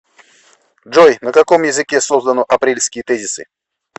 джой на каком языке создано апрельские тезисы